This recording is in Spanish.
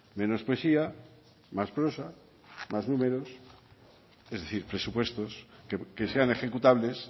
menos poesía más prosa más números es decir presupuestos que sean ejecutables